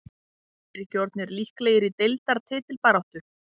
Eru þeir ekki orðnir líklegir í deildar titilbaráttu??